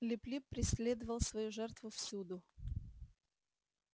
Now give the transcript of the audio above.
лип лип преследовал свою жертву всюду